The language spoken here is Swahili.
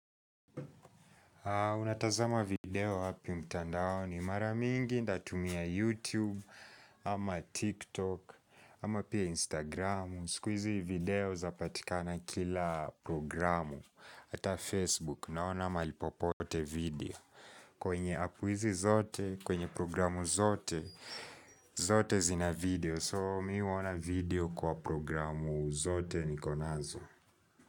Unatazama video wapi mtandao ni maramingi ndatumia YouTube ama TikTok ama pia Instagram Sikuizi video zapatikana kila programu ata Facebook naona malipopote video kwenye app izi zote, kwenye programu zote, zote zina video So mimi huoana video kwa programu zote niko nazo.